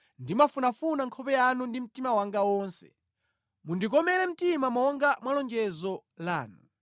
Ndimafunafuna nkhope yanu ndi mtima wanga wonse; mundikomere mtima monga mwa lonjezo lanu.